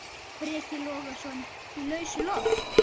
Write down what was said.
Breki Logason: Í lausu loft?